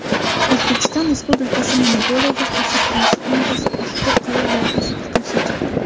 O‘zbekiston Respublikasi Monopoliyaga qarshi kurashish qo‘mitasi ushbu qaror loyihasiga qarshi chiqdi.